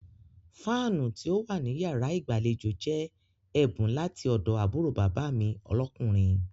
Fáánù tí ó wà ní yàrá ìgbàlejò jẹ́ ẹ̀bùn láti ọ̀dọ̀ àbúrò bàbá mi lọ́kùnrin.